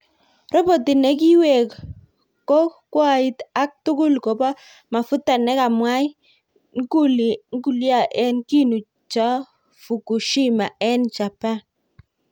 Roboti ne kiwek ko kwoit ak tugul kobo mafuta ne kamwai nuklia en kinu cha Fukushima en Japan.